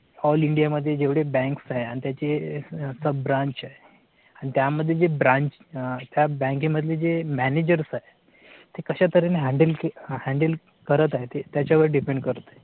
all India मध्ये जेवढे banks आहे आणि त्याचे sub branch आहेत आणि त्यामध्ये जे branch त्या बँकेमधले जे manager आहे ते कशा तरेने handle handle करत आहे. त्याच्या वर depend करते